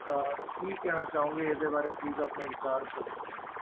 ਅਹ ਕੀ ਕਹਿਣਾ ਚਾਹੋਂਗੇ ਇਹਦੇ ਬਾਰੇ please ਆਪਣੇ ਵਿਚਾਰ ਤਾਂ ਦੱਸੋ